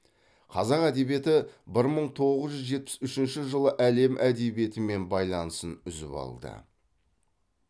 қазақ әдебиеті бір мың тоғыз жүз жетпіс үшінші жылы әлем әдебиетімен байланысын үзіп алды